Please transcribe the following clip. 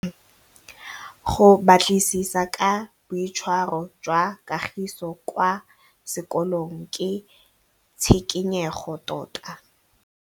Go batlisisa ka boitshwaro jwa Kagiso kwa sekolong ke tshikinyêgô tota.